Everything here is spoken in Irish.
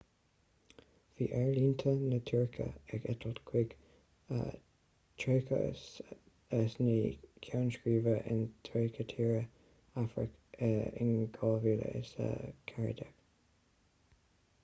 bhí aerlínte na tuirce ag eitilt chuig 39 ceann scríbe in 30 tír afracach in 2014